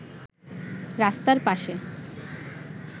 রাস্তার পাশে